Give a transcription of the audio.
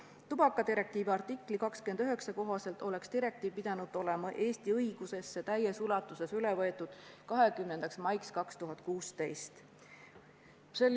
Tubakadirektiivi artikli 29 kohaselt oleks direktiiv pidanud olema Eesti õigusesse täies ulatuses üle võetud 20. maiks 2016.